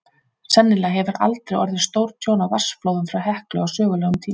Sennilega hefur aldrei orðið stórtjón af vatnsflóðum frá Heklu á sögulegum tíma.